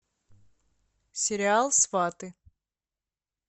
сериал сваты